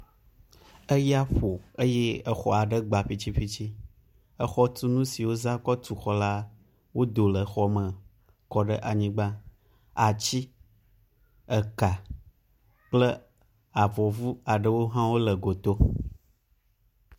Eya ƒo eye exɔ aɖe gbã ƒitsiƒitsi. Exɔtunu siwo wozã kɔ tu xɔ la wodo le xɔme kɔ ɖe anyigba, atsi, eka kple avɔvu aɖewo hã le goto.